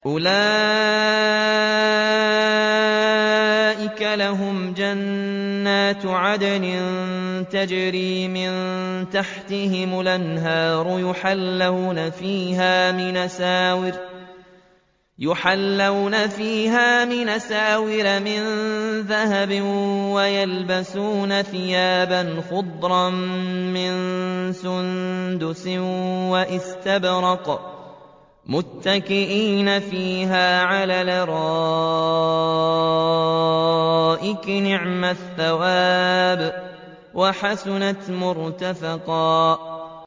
أُولَٰئِكَ لَهُمْ جَنَّاتُ عَدْنٍ تَجْرِي مِن تَحْتِهِمُ الْأَنْهَارُ يُحَلَّوْنَ فِيهَا مِنْ أَسَاوِرَ مِن ذَهَبٍ وَيَلْبَسُونَ ثِيَابًا خُضْرًا مِّن سُندُسٍ وَإِسْتَبْرَقٍ مُّتَّكِئِينَ فِيهَا عَلَى الْأَرَائِكِ ۚ نِعْمَ الثَّوَابُ وَحَسُنَتْ مُرْتَفَقًا